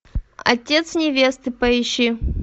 отец невесты поищи